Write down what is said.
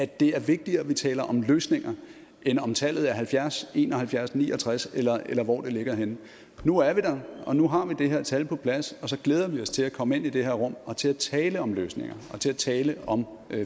det er vigtigere at vi taler om løsninger end om tallet er halvfjerds en og halvfjerds ni og tres eller eller hvor det ligger henne nu er vi der og nu har vi det her tal på plads og så glæder vi os til at komme ind i det her rum og til at tale om løsninger og til at tale om